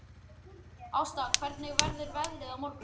Ásta, hvernig verður veðrið á morgun?